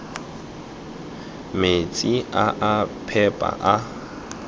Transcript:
metsi a a phepa a